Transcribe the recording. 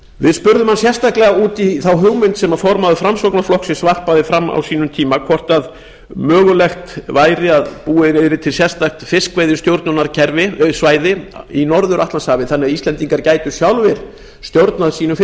við spurðum hann sérstaklega út í þá hugmynd sem formaður framsóknarflokksins varpaði fram á sínum tíma hvort mögulegt væri að búið yrði til sérstakt fiskveiðistjórnarsvæði í norður atlantshafi þannig að íslendingar gætu sjálfir stjórnað fiskveiðum